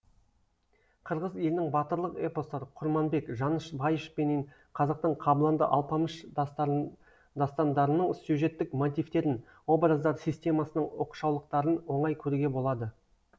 қырғыз елінің батырлық эпостары курманбек жаныш байыш пенен қазақтың кабланды алпамыш дастандарының сюжеттік мотивтерін образдар системасының оқшаулықтарын оңай көруге болады